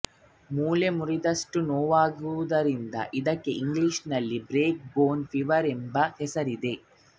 ಮೂಳೆ ಮುರಿದಷ್ಟು ನೋವಾಗುವುದರಿಂದ ಇದಕ್ಕೆ ಇಂಗ್ಲಿಷಿನಲ್ಲಿ ಬ್ರೇಕ್ ಬೋನ್ ಫೀವರ್ ಎಂಬ ಹೆಸರಿದೆ